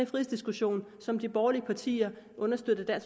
frihedsdiskussion som de borgerlige partier understøttet af